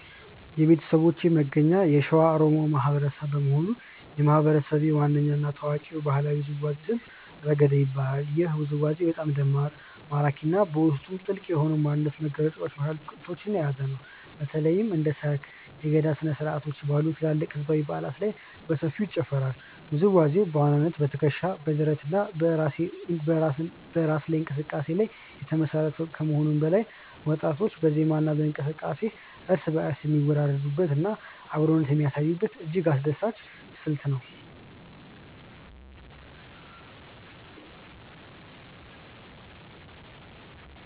የቤተሰቦቼ መገኛ የሸዋ ኦሮሞ ማህበረሰብ በመሆኑ፣ የማህበረሰቤ ዋነኛ እና ታዋቂው ባህላዊ ውዝዋዜ ስልት "ረገዳ" ይባላል። ይህ ውዝዋዜ በጣም ደማቅ፣ ማራኪ እና በውስጡ ጥልቅ የሆነ የማንነት መግለጫ መልዕክቶችን የያዘ ሲሆን፣ በተለይም እንደ ሰርግ፣ እና የገዳ ስነ-ስርዓቶች ባሉ ትላልቅ ህዝባዊ በዓላት ላይ በሰፊው ይጨፈራል። ውዝዋዜው በዋናነት በትከሻ፣ በደረት እና በእራስ እንቅስቃሴ ላይ የተመሰረተ ከመሆኑም በላይ፣ ወጣቶች በዜማ እና በእንቅስቃሴ እርስ በእርስ የሚወራረዱበት እና አብሮነትን የሚያሳዩበት እጅግ አስደሳች ስልት ነው።